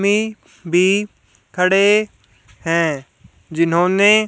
भी खड़े हैं जिन्होंने--